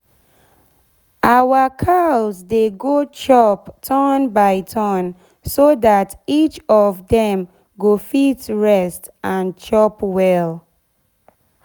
our cows dey go chop turn by turn so dat each of dem go fit rest and chop well.